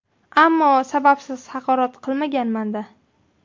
Ammo sababsiz haqorat qilmaganman-da.